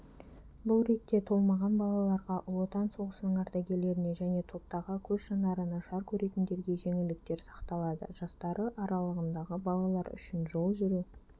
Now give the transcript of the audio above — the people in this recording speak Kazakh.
бұл ретте толмаған балаларға ұлы отан соғысының ардагерлеріне жене топтағы көзжанары нашар көретіндерге жеңілдіктер сақталады жастары аралығындағы балалар үшін жол жүру